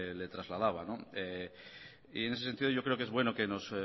le trasladaba y en ese sentido yo creo que es bueno que nos